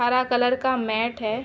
हरा कलर का मैट है।